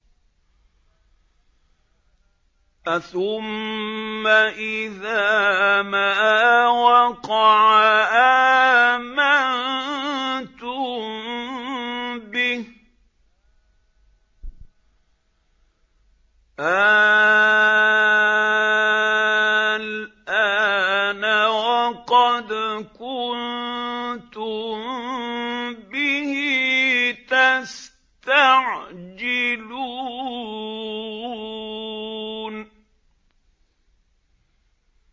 أَثُمَّ إِذَا مَا وَقَعَ آمَنتُم بِهِ ۚ آلْآنَ وَقَدْ كُنتُم بِهِ تَسْتَعْجِلُونَ